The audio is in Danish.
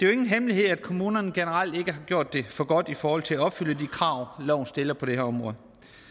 jo ingen hemmelighed at kommunerne generelt ikke har gjort det for godt i forhold til at opfylde de krav loven stiller på det her område